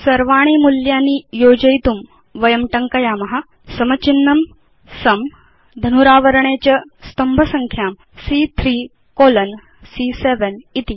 सर्वाणि मूल्यानि योजयितुं वयं टङ्कयाम इस् इक्वल तो सुं धनुरावरणे च स्तम्भसंख्यां सी॰॰3 कोलोन सी॰॰7 इति